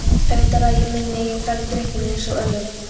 Auðvitað ræð ég minni eigin ferð í drykkjunni einsog öðru.